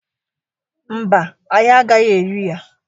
Mba, anyi agaghi eri ya.